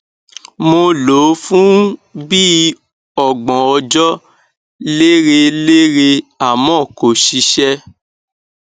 mo lò ó fún bí i ọgbọn ọjọ lérelére àmọ kò ṣiṣẹ